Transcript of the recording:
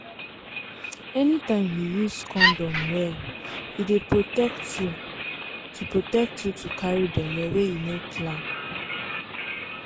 anytime you use condom well e dey protect you to protect you to carry belle wey you no plan.